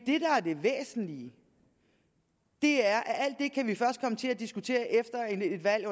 er det væsentlige er at alt det kan vi først komme til at diskutere efter et valg